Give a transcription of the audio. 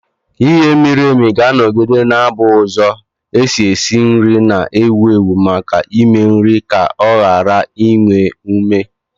Ighe miri emi ga-anọgide na-abụ ụzọ esi esi nri na-ewu ewu maka ịme nri ka o ghara inwe ume.